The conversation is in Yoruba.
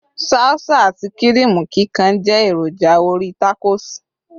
salsa ati kirimu kikan je eroja orí tacos